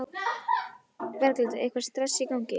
Berghildur: Eitthvað stress í gangi?